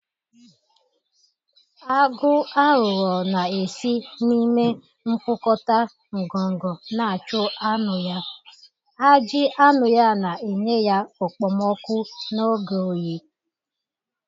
Agụ aghụghọ na-esi n'ime mkpukota ngongo na-achụ anụ ya, ajị anụ ya na enye ya okpomọkụ n'oge oyi.